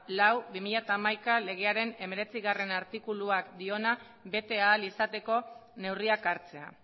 lau barra bi mila hamaika legearen hemeretzigarrena artikuluak diona bete ahal izateko neurriak hartzea